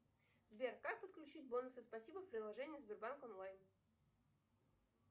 сбер как подключить бонусы спасибо в приложении сбербанк онлайн